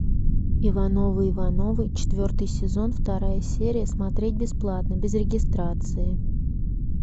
ивановы ивановы четвертый сезон вторая серия смотреть бесплатно без регистрации